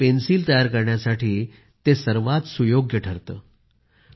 त्यामुळे पेन्सिल तयार करण्यासाठी ते सर्वात सुयोग्य ठरते